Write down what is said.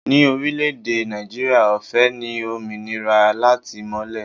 Ni orílẹ̀ èdè Nàìjíríà, ọ̀fẹ́ ni òmìnira látìmọ̀lé